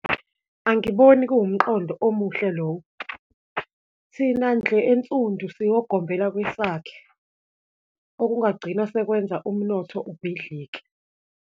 Angiboni kuwumqondo omuhle lowo. Thina ndlu ensundu siwogombela kwesakhe, okungagcina sekwenza umnotho ubhidlike.